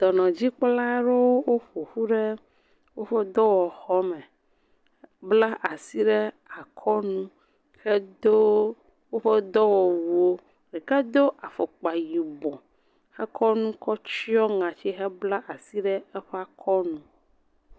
Ɖɔnɔdzikpɔla aɖewo ƒo ƒu ɖe woƒe dɔwɔxɔme. Bla asi ɖe akɔnu hedo woƒe ɖɔwɔwuwo. Ɖeka do afɔkpa yibɔ he kɔ nu kɔ tse ŋɔti hebla asi ɖe aɔe akɔ nu.